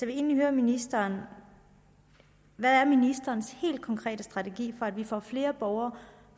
vil egentlig høre ministeren hvad er ministerens helt konkrete strategi for at vi får flere borgere